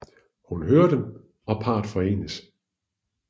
Hun hører dem og parret forenes